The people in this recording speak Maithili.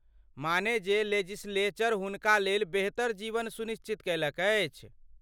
माने जे लेजिस्लेचर हुनका लेल बेहतर जीवन सुनिश्चित कयलक अछि!